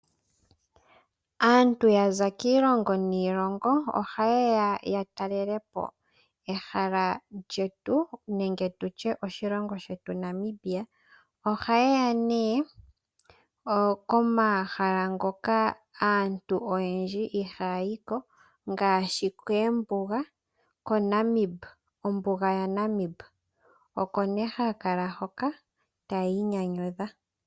Aantu ya za kiilongo niilongo ohaye ya ya talele po ehala lyetu nenge tutye oshilongo shetu Namibia. Ohaye ya nee komahala ngoka aantu oyendji ihaya yi ko ngaashi koombuga, kombuga yaNamib oko nee haya kala hoka taya inyanyudha.